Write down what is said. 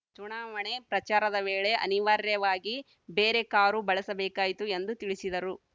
ಚುನಾವಣೆ ಪ್ರಚಾರದ ವೇಳೆ ಅನಿವಾರ್ಯವಾಗಿ ಬೇರೆ ಕಾರು ಬಳಸಬೇಕಾಯಿತು ಎಂದು ತಿಳಿಸಿದರು